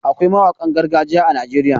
Akwai mawanƙan gargajiya a Najeriya.